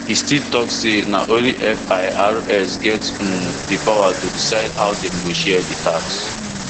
e still tok say na only firs get um di power to decide how dem go share di tax